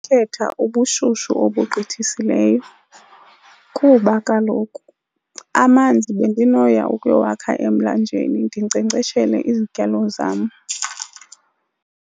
Khetha ubushushu obugqithisileyo kuba kaloku amanzi bendinoya ukuyowakha emlanjeni ndinkcenkceshele izityalo zam.